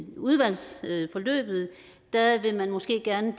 udvalgsforløbet måske gerne